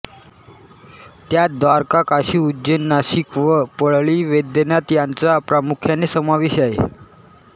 त्यांत द्वारका काशी उज्जैन नाशिक व परळी वैजनाथ यांचा प्रामुख्याने समावेश आहे